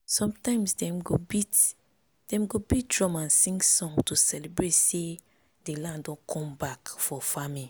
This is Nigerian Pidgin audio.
sometimes dem go beat dem go beat drum and sing song to celebrate say the land don come back for farming.